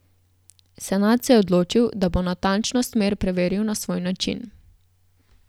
Senad se je odločil, da bo natančnost mer preveril na svoj način.